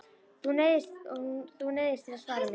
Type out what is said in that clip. Og þú neyðist til að svara mér.